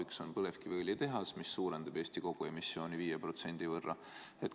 Üks on põlevkiviõlitehas, mis suurendab Eesti koguemissiooni 5% võrra.